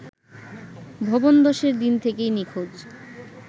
ভবন ধসের দিন থেকেই নিখোঁজ